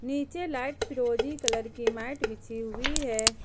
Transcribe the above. नीचे लाइट फिरोजी कलर की मैट बिछी हुई है।